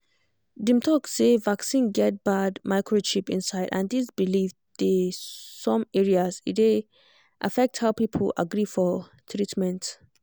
dem talk say vaccine get bad microchip inside and this belief dey some areas e dey affect how people agree for treatment